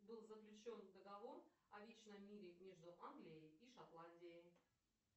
был заключен договор о личном мире между англией и шотландией